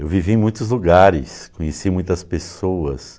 Eu vivi em muitos lugares, conheci muitas pessoas.